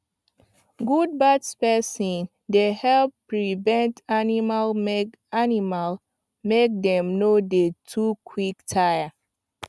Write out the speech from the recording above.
good birth spacing dey help prevent animal make animal make dem no dey too quick tire